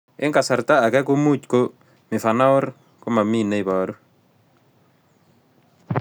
Eng' kasarta ag'e ko much ko mifanaor komamii ne ibaru